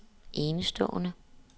enestående